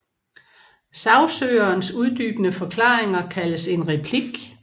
Sagsøgerens uddybende forklaringer kaldes en replik